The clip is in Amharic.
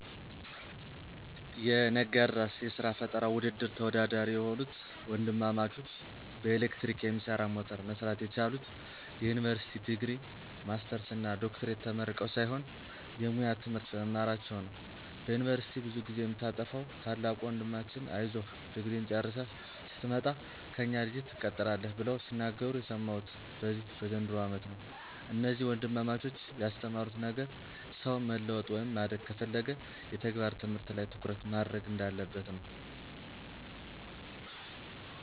የነጋድራስ የስራ ፈጠራ ውድድር ተወዳዳሪ የሆኑት ወንድማማቾች በኤሌክትሪክ የሚሰራ ሞተር መስራት የቻሉት የዩኒቨርሲቲ ዲግሪ፣ ማስተርስ እና ዶክትሬት ተመርቀው ሳይሆን የሙያ ትምህርት በመማራቸው ነው። በዩኒቨርስቲ ብዙ ጊዜ የምታጠፋዉ ታላቁ ወንድማችን አይዞህ ድግሪህን ጨርሰህ ስትመጣ ከእኛ ድርጅት ትቀጠራለህ ብለው ሲናገሩ የሰማሁት በዚህ በዘንድሮው አመት ነው። እነዚህ ወንድማማቾች ያስተማሩት ነገር ሰው መለወጥ ወይም ማደግ ከፈለገ የተግባር ትምህርት ላይ ትኩረት ማድረግ አለበት።